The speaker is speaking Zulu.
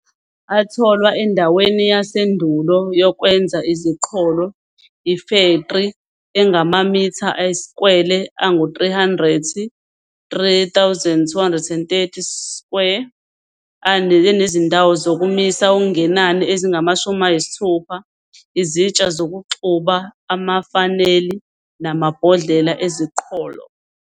Atholwa endaweni yasendulo yokwenza iziqholo, ifektri engamamitha ayiskwele angu-300, 3,230 square, enezindawo zokumisa okungenani ezingu-60, izitsha zokuxuba, amafaneli, namabhodlela eziqholo.